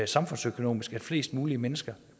samfundsøkonomisk at flest mulige mennesker